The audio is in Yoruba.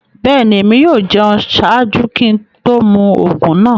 Bẹ́ẹ̀ni, ẹ̀mi yóò jẹun ṣáàjú kí n tó mú oogun naa.